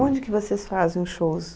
Onde que vocês fazem os shows?